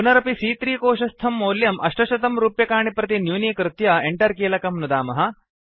पुनरपि सी॰॰4 कोशस्थं मौल्यं 800 रूप्यकाणि प्रति न्यूनीकृत्य Enter कीलकं नुदामः